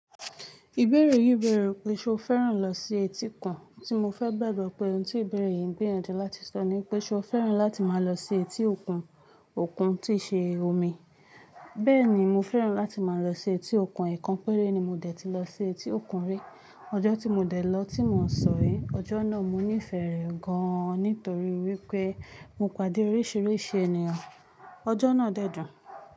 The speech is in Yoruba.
Ìbéèrè yìí bẹ̀rẹ̀ pé ṣe o fẹ́ràn lọ sí etíkun, tí mo fẹ́ gbàgbọ́ pé ohun tí ìbéèrè yìí ń gbiyanju láti sọ ni pé ṣe o fẹ́ràn láti máa lọ sí etí òkun, òkun tí ṣe omi. Bẹ́ẹ̀ ni, mo fẹ́ràn láti máa lọ sí etí òkun, èékánpéré ni mo dẹ̀ ti lọ sí etí òkun rí. Ọjọ́ tí mo dẹ̀ lọ tí mò ń sọ rí, ọjọ́ náà mo nífẹ̀ẹ́ rẹ̀ gan an nítorí wípé mo pàdé oríṣiríṣi ènìyàn. Ọjọ́ náà de dún.